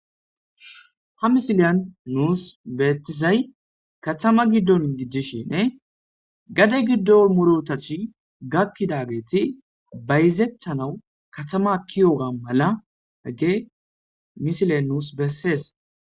Ha misileyan nuus beettizay katama giddonn gijjishinne gade giddo morotathi gakkidageeti bayzethanawu katama akkiyoga mala hagge misile nuus bessees.